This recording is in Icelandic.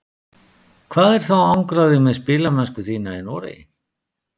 Hvað er þá að angra þig með spilamennsku þína í Noregi?